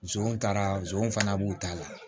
Zonw taara zonzanw fana b'u ta la